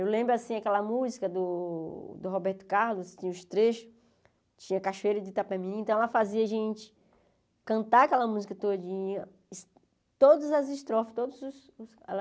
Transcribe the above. Eu lembro, assim, aquela música do do Roberto Carlos, tinha os trechos, tinha Cachoeira de Itapemirim, então ela fazia a gente cantar aquela música todinha, todas as estrofes, todos os ela